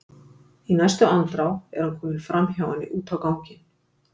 Í næstu andrá er hann kominn framhjá henni út á ganginn.